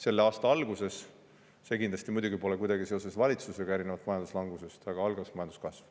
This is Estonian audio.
Selle aasta alguses – see kindlasti pole muidugi kuidagi valitsusega seotud, erinevalt majanduslangusest – algas majanduskasv.